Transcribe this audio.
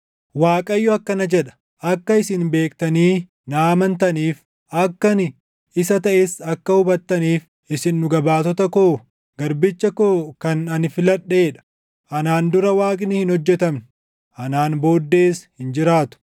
Waaqayyo akkana jedha; “Akka isin beektanii na amantaniif akka ani isa taʼes akka hubattaniif isin dhuga baatota koo, garbicha koo kan ani filadhee dha. Anaan dura waaqni hin hojjetamne; anaan booddees hin jiraatu.